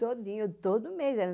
Todinho, todo mês.